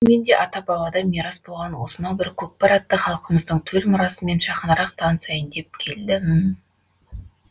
бүгін мен де ата бабадан мирас болған осынау бір көкпар атты халқымыздың төл мұрасымен жақынырақ танысайын деп келдім